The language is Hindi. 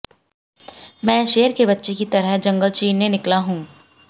मैं शेर के बच्चे की तरह जंगल चीरने निकला हूं